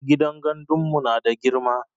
Gidan gandun mu nada girma